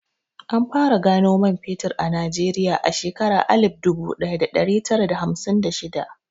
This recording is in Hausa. An fara gano man fetur a Najeriya a shekarar alif dubu ɗaya da ɗari tara da hamsin da shida.